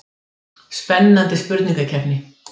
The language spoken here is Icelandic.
Spennandi spurningakeppni.